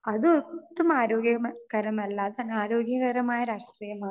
speaker 2 അത് ഒട്ടും ആരോഗ്യകരമല്ലാത്ത ആരോഗ്യകരമായ രാഷ്ട്രീയമാ